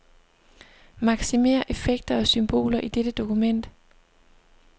Maksimér effekter og symboler i dette dokument.